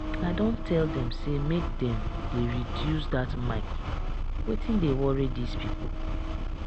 i don tell dem say make dem dey reduce that mic wetin dey worry dis people?